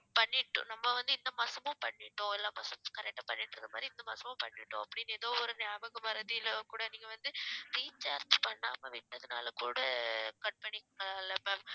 பண்ணிட்டு~ நம்ம வந்து இந்த மாசமும் பண்ணிட்டோம் எல்லா மாசமும் correct ஆ பண்ணிட்டிருந்த மாரி இந்த மாசமும் பண்ணிட்டோம் அப்படின்னு ஏதோ ஒரு ஞாபக மறதியில கூட நீங்க வந்து recharge பண்ணாம விட்டதனால் கூட ஆஹ் cut பண்ணி இருக்கலாம் இல்ல ma'am